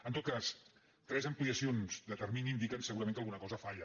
en tot cas tres ampliacions de termini indiquen segu·rament que alguna cosa falla